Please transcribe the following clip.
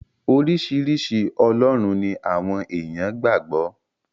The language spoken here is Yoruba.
Oríṣiríṣi ọlọ́run ni àwọn èèyàn gbà gbọ́.